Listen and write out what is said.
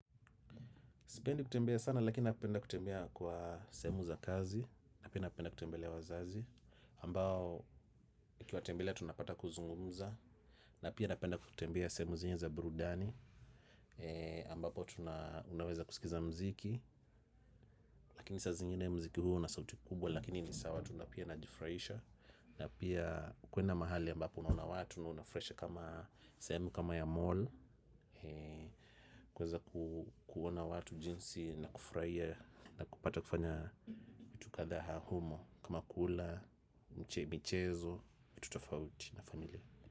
Sipendi kutembea sana, lakini napenda kutembea kwa sehemu za kazi. Na pia napenda kutembelea wazazi. Ambao, nikiwatembelea, tunapata kuzungumza. Napenda kutembea sehemu zile za birudani. Ambapo, tunaweza kusikiza muziki. Lakini saa zingine muziki huwa na sauti kubwa lakini ni sawa, tunapia na jifuraisha. Na pia, kwenda mahali ambapo unaona watu na unafurahisha kama sehemu kama ya mall. Kuweza kuona watu jinsi na kufurahia na kupata kufanya vitu kadhaa humo kama kula, michezo vitu tofauti na familia.